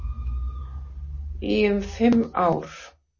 Í um fimm ár.